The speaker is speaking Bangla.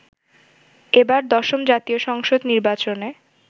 এবার দশম জাতীয় সংসদ নির্বাচনে